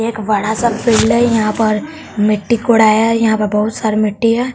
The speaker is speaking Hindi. एक बड़ा सा टीले यहां पर मिट्टी कोडाया यहां पर बहुत सारी मिट्टी है।